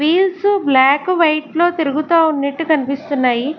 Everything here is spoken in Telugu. వీల్సు బ్లాక్ వైట్ లో తిరుగుతా ఉన్నెట్టు కన్పిస్తున్నాయి.